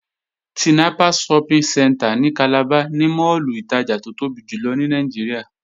Tinapa Shopping Centre ní Calabar ni máàlù ìtajà tó tóbi jùlọ ní Nàìjíríà